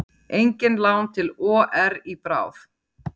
Engin lán til OR í bráð